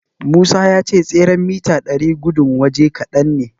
Musa ya ce tseren mita ɗari gudun waje kadan ne.